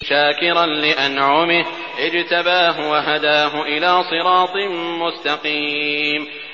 شَاكِرًا لِّأَنْعُمِهِ ۚ اجْتَبَاهُ وَهَدَاهُ إِلَىٰ صِرَاطٍ مُّسْتَقِيمٍ